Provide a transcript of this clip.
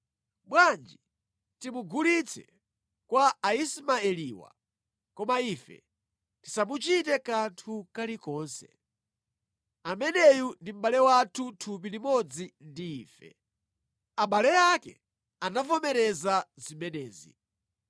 Bwanji timugulitse kwa Aismaeliwa, koma ife tisamuchite kanthu kalikonse. Ameneyu ndi mʼbale wathu thupi limodzi ndi ife.” Abale ake anavomereza zimenezi.